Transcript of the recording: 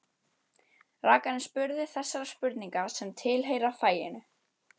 Rakarinn spurði þessara spurninga sem tilheyra faginu: